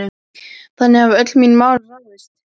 Þannig hafa öll mín mál ráðist.